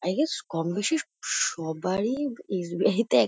I guess কম বেশী স সবারই এস.বি.আই -তে এক--